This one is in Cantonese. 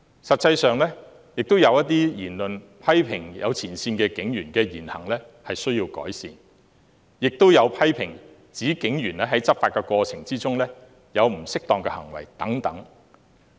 實際上，有批評指部分前線警員的言行有待改善，亦有批評指警員在執法過程中作出了不恰當的行為等。